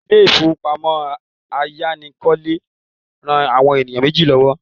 Ilé ìfowópamọ́ ayánilówókọ́lé ran àwọn ènìyàn méjì lọ́wọ́